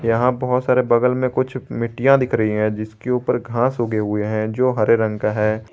यहां बहोत सारे बगल में कुछ मिट्टियां दिख रही हैं जिसके ऊपर घास उगे हुए हैं जो हरे रंग का हैं।